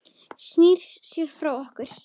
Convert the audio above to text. Snýr sér frá okkur.